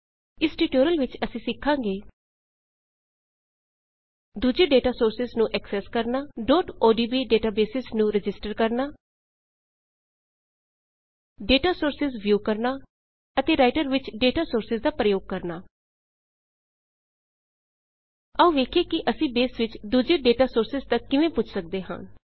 ਇਸ ਟਿਊਟੋਰੀਅਲ ਵਿੱਚ ਅਸੀਂ ਸਿੱਖਾਂਗੇ ਦੂਜੇ ਡੇਟਾ ਸੋਰਸਿਜ਼ ਨੂੰ ਐਕਸੈਸ ਕਰਣਾ odb ਡੇਟਾਬੇਸਿਜ਼ ਨੂੰ ਰਜਿਸਟਰ ਕਰਣਾ ਡੇਟਾ ਸੋਰਸਿਜ਼ ਵਿਊ ਕਰਣਾ ਅਤੇ ਰਾਈਟਰ ਵਿੱਚ ਡੇਟਾ ਸੋਰਸਿਜ਼ ਦਾ ਪ੍ਰਯੋਗ ਕਰਣਾ ਆਉ ਵੇਖੀਏ ਕੀ ਅਸੀਂ ਬੇਸ ਵਿੱਚ ਦੂਜੇ ਡੇਟਾ ਸੋਰਸਿਜ਼ ਤੱਕ ਕਿਵੇਂ ਪੁੱਜ ਸੱਕਦੇ ਹਾਂ